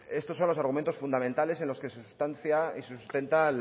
esto son los argumentos fundamentales en los que se sustancia y sustenta